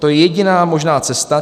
To je jediná možná cesta.